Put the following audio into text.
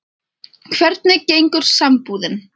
Hvernig gengur sambúðin?